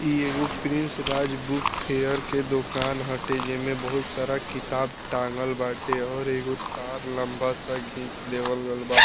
इ एगो prince Raj book fair के दोकान हटे जेमें बहुत सारा किताब टाँगल बाटे और एगो तार लम्बा सा घींच देवल गल बा।